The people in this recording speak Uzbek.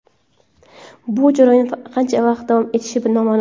Bu jarayon qancha vaqt davom etishi noma’lum.